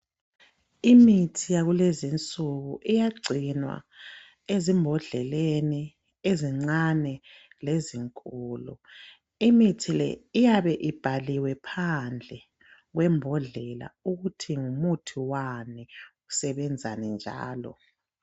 Imithi yakulezinsuku iyagcinwa ezibhodleleni ezincane lezinkulu. Imithi le iyabe ibhaliwe phandle kwebhodlela ukuthi ngumuthi wani usebenzani njalo.